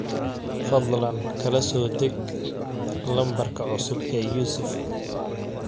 fadlan kala soo deg lambarka cusub ee yusuf